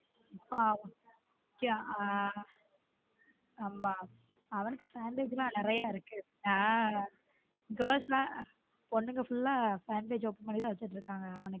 ஆமா அவன்னுக்கு fan page லாம் நறிய இருக்கு ஹம் girls லாம் பொண்ணுங்க full ஆ fan page open பண்ணி தான் வைச்சுக்கிட்டு இருகாங்க.